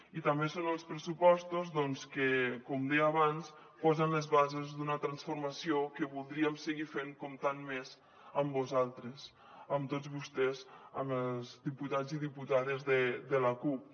i també són els pressupostos que com deia abans posen les bases d’una transformació que voldríem seguir fent comptant més amb vosaltres amb tots vostès amb els diputats i diputades de la cup